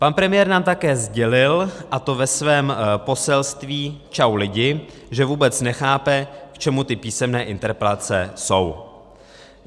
Pan premiér nám také sdělil, a to ve svém poselství Čau lidi, že vůbec nechápe, k čemu ty písemné interpelace jsou.